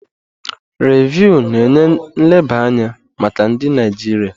Rịvụ na-enye nleba anya maka ndị Naijiria.